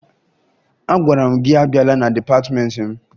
Agwara m gị abịala na dịpatịmentị m!